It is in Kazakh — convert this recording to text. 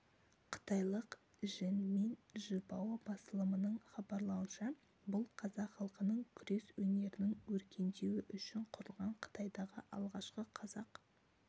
қытайлық жэньминь жибао басылымының хабарлауынша бұл қазақ халқының күрес өнерінің өркендеуі ұшін құрылған қытайдағы алғашқы қазақ